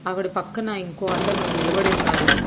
ఆవిడ పక్కన ఇంకో అతను నిలబడి ఉన్నారు.